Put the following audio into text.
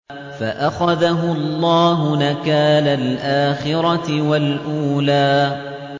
فَأَخَذَهُ اللَّهُ نَكَالَ الْآخِرَةِ وَالْأُولَىٰ